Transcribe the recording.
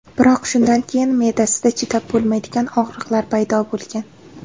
Biroq shundan keyin me’dasida chidab bo‘lmaydigan og‘riqlar paydo bo‘lgan.